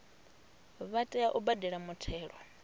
vha tea u badela muthelo